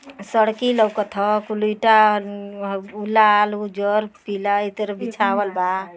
सड़की लउकत ह। कुल ईटा अन्नन लाल उजर पीला एही तरे बिछावल बा।